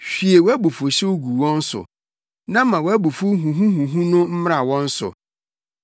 Hwie wʼabufuwhyew gu wɔn so; na ma wʼabufuw huhuhuhu no mmra wɔn so.